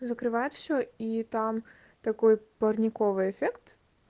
закрывают все и там такой парниковый эффект